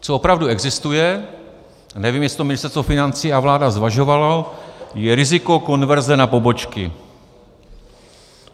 Co opravdu existuje - nevím, jestli to Ministerstvo financí a vláda zvažovaly - je riziko konverze na pobočky.